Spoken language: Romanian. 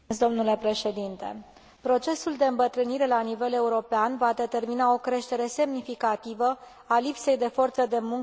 Procesul de îmbătrânire la nivel european va determina o creștere semnificativă a lipsei de forță de muncă în deceniile următoare.